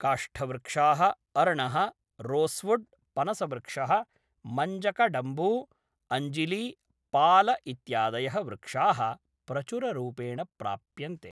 काष्ठवृक्षाः, अर्णः, रोस्वुड्, पनसवृक्षः, मञ्जकडम्बू, अञ्जिली, पाल इत्यादयः वृक्षाः प्रचुररूपेण प्राप्यन्ते।